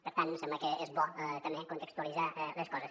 per tant em sembla que és bo també contextualitzar les coses